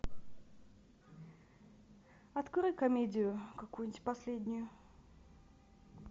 открой комедию какую нибудь последнюю